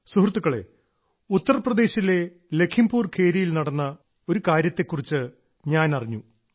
സുഹൃത്തുക്കളെ ഉത്തർപ്രദേശിലെ ലഘീംപുർ ഖേരിയിൽ നടന്ന ഒരു കാര്യത്തെ കുറിച്ച് ഞാൻ അറിഞ്ഞു